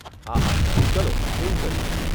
હાહા, ચલો એવું કરીએ.